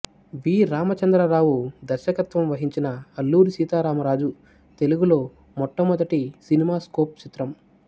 వి రామచంద్రరావు దర్శకత్వం వహించిన అల్లూరి సీతారామరాజు తెలుగులో మట్టమొదటి సినిమా స్కోప్ చిత్రం